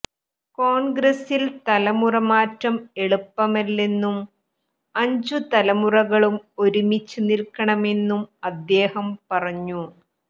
കോൺഗ്രസിൽ തലമുറ മാറ്റം എളുപ്പമല്ലെന്നും അഞ്ചുതലമുറകളും ഒരുമിച്ച് നിൽക്കണമെന്നും അദ്ദേഹം പറഞ്ഞു